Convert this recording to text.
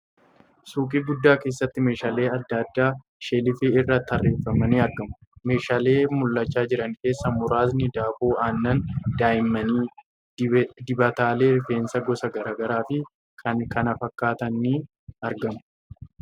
Suuqii guddaa keessatti meeshaaleen adda addaa sheelfii irra tarreeffamanii argamu . Meeshaalee mul'achaa jiran keessaa muraasni daakuu aannan daa'immanii, dibataalee rifeensaa gosa gargaraa fi kan kana fakkaatan ni argamu .